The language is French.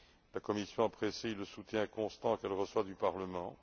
La Commission apprécie le soutien constant qu'elle reçoit du Parlement.